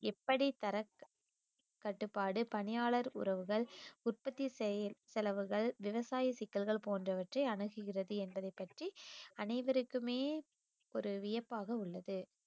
எப்படி தர க~ கட்டுப்பாடு, பணியாளர் உறவுகள், உற்பத்தி செய~ செலவுகள், விவசாய சிக்கல்கள், போன்றவற்றை அணுகுகிறது என்பதைப் பற்றி அனைவருக்குமே ஒரு வியப்பாக உள்ளது